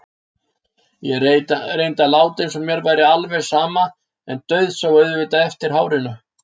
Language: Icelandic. Ég reyndi að láta eins og mér væri alveg sama en dauðsá auðvitað eftir hárinu.